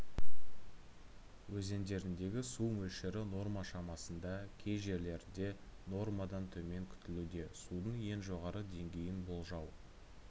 өзендеріндегі су мөлшері норма шамасында кей жерлерде нормадан төмен күтілуде судың ең жоғары деңгейін болжау